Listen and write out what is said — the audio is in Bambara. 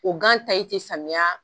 O gan ti samiya